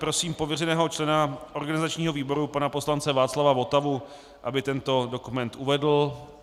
Prosím pověřeného člena organizačního výboru pana poslance Václava Votavu, aby tento dokument uvedl.